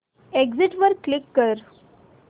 exit वर click कर